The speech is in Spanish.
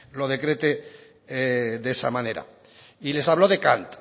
lo decrete de esa manera y les habló de kant